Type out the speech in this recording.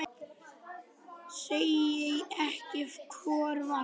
Segi ekki hvor vann.